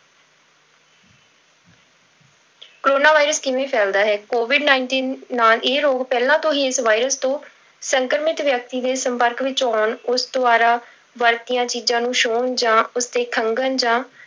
corona virus ਕਿਵੇਂ ਫੈਲਦਾ ਹੈ covid nineteen ਨਾਲ ਇਹ ਰੋਗ ਪਹਿਲਾਂ ਤੋਂ ਹੀ ਇਸ virus ਤੋਂ ਸੰਕਰਮਿਤ ਵਿਅਕਤੀ ਦੇ ਸੰਪਰਕ ਵਿੱਚ ਆਉਣ, ਉਸ ਦੁਆਰਾ ਵਰਤੀਆਂ ਚੀਜ਼ਾਂ ਨੂੰ ਛੂਹਣ ਜਾਂ ਉਸਦੇ ਖੰਘਣ ਜਾਂ